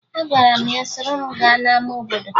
Agwara m ya soro m gaa n'ama obodo